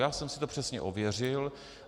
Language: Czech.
Já jsem si to přesně ověřil.